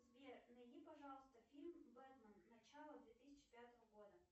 сбер найди пожалуйста фильм бэтмен начало две тысячи пятого года